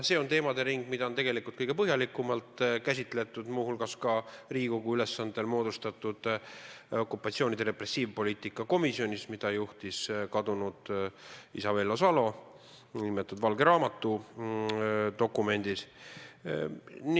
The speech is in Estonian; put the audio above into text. See on teemade ring, mida on tegelikult kõige põhjalikumalt käsitletud muu hulgas Riigikogu ülesandel moodustatud okupatsioonide repressiivpoliitika komisjonis, mida juhtis kadunud isa Vello Salo, nn valge raamatu dokumendis.